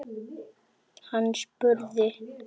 Hann spurði